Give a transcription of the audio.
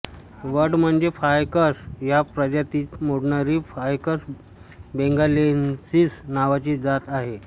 वड म्हणजे फायकस या प्रजातीत मोडणारी फायकस बेंगालेन्सिस नावाची जात आहे